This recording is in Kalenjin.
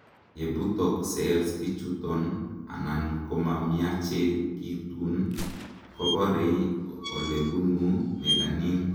yebutok cells ichuton anan komamiachekitun, koborei olebunu melanin